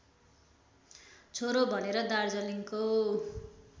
छोरो भनेर दार्जिलिङको